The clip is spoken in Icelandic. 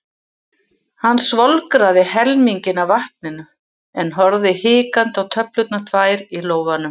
Hann svolgraði helminginn af vatninu en horfði hikandi á töflurnar tvær í lófanum.